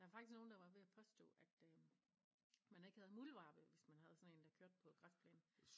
Der faktisk nogen der var ved at påstå at øh man ikke havde muldvarpe hvis man havde sådan en der kørte på græsplænen